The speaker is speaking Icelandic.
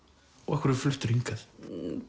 af hverju fluttirðu hingað